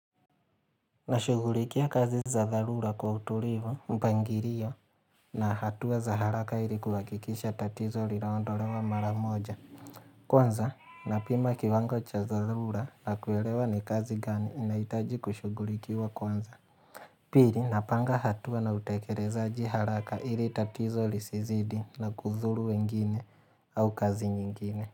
Nashugulikia kazi za dharura kwa utulivu mpangilio na hatua za haraka ili kuhakikisha tatizo lilaondolewa maramoja. Kwanza, napima kiwango cha tharura na kwelewa ni kazi gani inaitaji kushugulikiwa kwanza. Pili, napanga hatuwa na utekelezaji haraka ili tatizo lisizidi na kudhuru wengine au kazi nyingine.